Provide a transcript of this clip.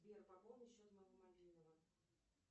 сбер пополни счет моего мобильного